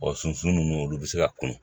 sunsun nunnu olu be se ka kun